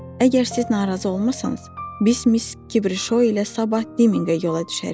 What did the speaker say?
Əgər siz narazı olmasanız, biz Miss Kibri Şou ilə sabah Dimminqə yola düşərik.